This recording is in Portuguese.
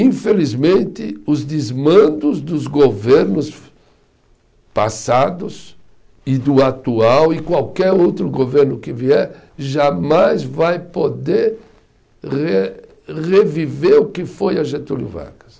Infelizmente, os desmandos dos governos passados e do atual, e qualquer outro governo que vier, jamais vai poder re reviver o que foi a Getúlio Vargas.